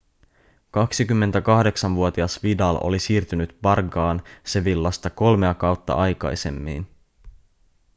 28-vuotias vidal oli siirtynyt barçaan sevillasta kolmea kautta aikaisemmin